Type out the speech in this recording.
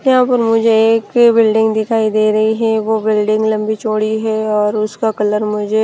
यहां पर मुझे एक बिल्डिंग दिखाई दे रही है वो बिल्डिंग लंबी चौड़ी है और उसका कलर मुझे--